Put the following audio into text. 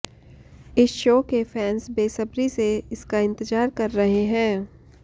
इस शो के फैंस बेसब्री से इसका इंतजार कर रहे हैं